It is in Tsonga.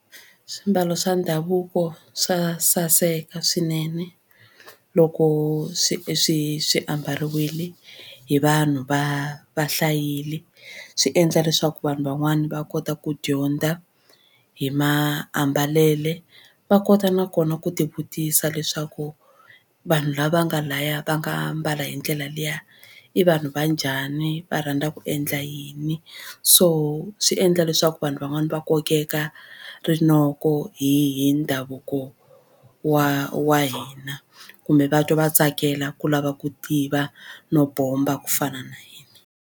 Swimbalo swa ndhavuko swa saseka swinene loko swi swi swi ambariwile hi vanhu va va hlayile. Swi endla leswaku vanhu van'wani va kota ku dyondza hi mambalelo va kota nakona ku tivutisa leswaku vanhu lava nga laya va nga mbala hi ndlela liya i vanhu va njhani va rhandza ku endla yini so swi endla leswaku vanhu van'wani va kokeka rinoko hi hi ndhavuko wa wa hina kumbe va twa va tsakela ku lava ku tiva no bomba ku fana na hina.